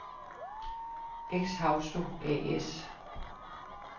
Exhausto A/S